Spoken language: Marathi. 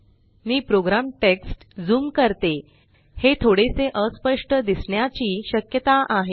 मी प्रोग्राम टेक्स्ट ज़ूम करते हे थोडेसे अस्पष्ट दिसण्याची श्यकता आहे